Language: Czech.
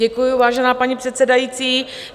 Děkuju, vážená paní předsedající.